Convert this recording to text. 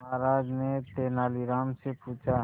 महाराज ने तेनालीराम से पूछा